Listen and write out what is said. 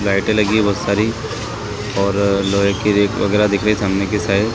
लाइटे लगी बहुत सारी और लोहे की रेक वगेरा दिख रहे सामने के साइड --